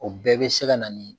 O bɛɛ bɛ se ka nani